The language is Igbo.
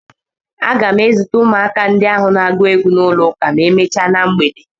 M ga-ezute ụmụaka ndị ahụ na-agụ egwu n'ụlọ ụka ma emechaa na mgbede.